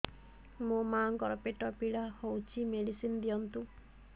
ମୋ ମାଆଙ୍କର ପେଟ ପୀଡା ହଉଛି ମେଡିସିନ ଦିଅନ୍ତୁ